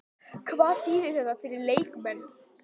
Hvað þýðir þetta fyrir leikmenn?